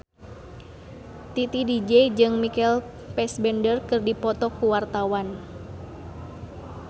Titi DJ jeung Michael Fassbender keur dipoto ku wartawan